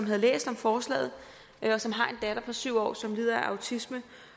havde læst om forslaget og som har en datter på syv år som lider af autisme